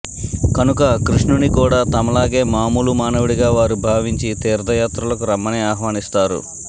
కనుక కృష్ణుని కూడా తమలాగే మామూలు మానవుడిగా వారు భావించి తీర్ధయాత్రలకు రమ్మని ఆహ్వానిస్తారు